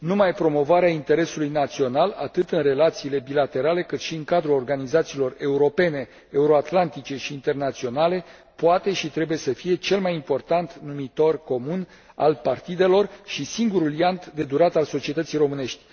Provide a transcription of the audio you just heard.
Numai promovarea interesului național, atât în relațiile bilaterale, cât și în cadrul organizațiilor europene, euroatlantice și internaționale poate și trebuie să fie cel mai important numitor comun al partidelor și singurul liant de durată al societății românești.